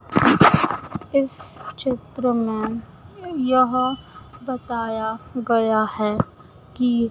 इस चित्र में यह बताया गया है कि--